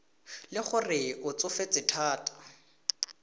le gore o tsofetse thata